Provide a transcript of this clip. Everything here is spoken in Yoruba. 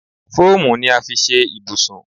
Fóòmù ni a fi ṣe ibùsùn.